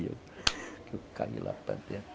E eu caí lá para dentro.